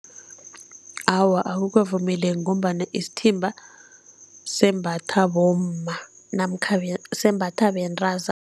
Awa, akukavumeleki ngombana isithimba sembatha bomma namkha sembatha bentazana